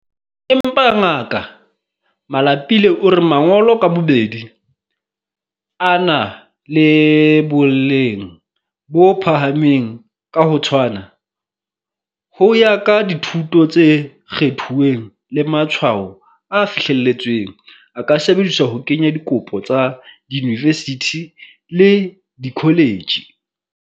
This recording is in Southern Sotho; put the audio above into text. Empa, Ngaka Malapile o re mangolo ka bobedi, a na le boleng bo phahameng ka ho tshwana, ho ya ka dithuto tse kgethuweng le matshwao a fihleletsweng, a ka sebediswa ho kenya dikopo tsa diyunivesithi le dikholetjhi.